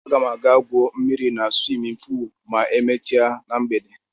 Aga m aga gwuo mmiri na swimin puul ma emesie na mgbede.